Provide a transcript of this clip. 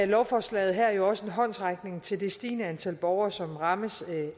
lovforslaget her jo også en håndsrækning til det stigende antal borgere som rammes